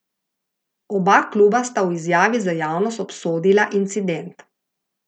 Oba kluba sta v izjavi za javnost obsodila incident.